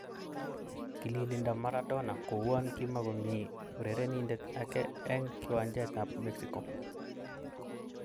Kililindo Maradona kouan kimokomi urerenindet ake eng kiwanjet ab Mexico